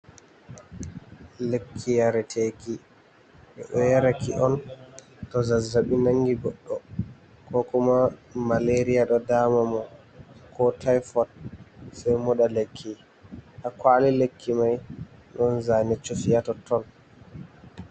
Lekki yareteki ɓeɗo yaraki on to zazzaɓi nangi goɗɗo ko kuma malaria ɗo dama mo, ko tifot, sei moɗa lekki ha. Ha kwali lekki mai ɗon zane cufi ha totton.